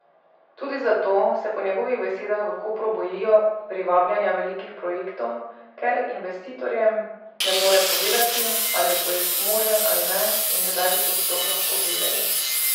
Tudi zato se po njegovih besedah v Kopru bojijo privabljanja velikih projektov, ker investitorjem ne more povedati, ali je projekt možen ali ne in kdaj bi to sploh lahko vedeli.